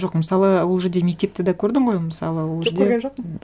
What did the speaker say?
жоқ мысалы ол жерде мектепті де көрдің ғой мысалы ол жерде жоқ көрген жоқпын